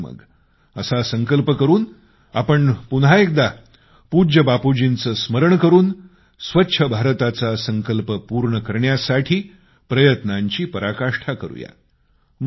चला तर मग असा संकल्प करून आपण पुन्हा एकदा पूज्य बापूंजींचे स्मरण करून स्वच्छ भारताचा संकल्प पूर्ण करण्यासाठी प्रयत्नांची पराकाष्ठा करूया